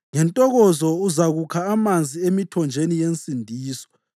Ngentokozo uzakukha amanzi emithonjeni yensindiso.